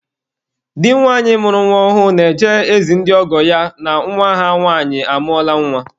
Di nwanyị mụrụ nwa ọhụrụ na-eje ezi ndị ọgọ ya na nwa ha nwanyị amụọla nwa.